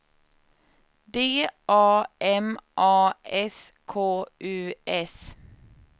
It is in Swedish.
D A M A S K U S